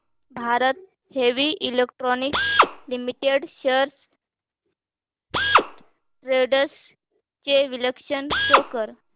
Bharat Heavy Electricals Limited shares trends चे विश्लेषण show कर